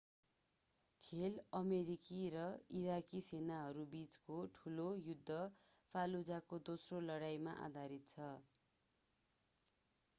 खेल अमेरिकी र इराकी सेनाहरूबीचको ठुलो युद्ध fallujah को दोस्रो लडाईमा आधारित छ